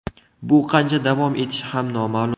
Bu qancha davom etishi ham noma’lum.